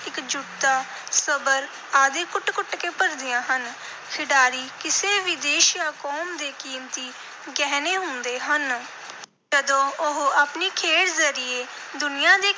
ਇਕਜੁੱਟਤਾ, ਸਬਰ ਆਦਿ ਕੁੱਟ-ਕੁੱਟ ਕੇ ਭਰਦੀਆਂ ਹਨ। ਖਿਡਾਰੀ ਕਿਸੇ ਵੀ ਦੇਸ਼ ਜਾਂ ਕੌਮ ਦੇ ਕੀਮਤੀ ਗਹਿਣੇ ਹੁੰਦੇ ਹਨ। ਜਦੋਂ ਉਹ ਆਪਣੀ ਖੇਡ ਜ਼ਰੀਏ ਦੁਨੀਆ ਦੇ